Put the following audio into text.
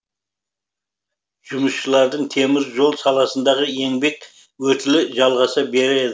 жұмысшылардың темір жол саласындағы еңбек өтілі жалғаса береді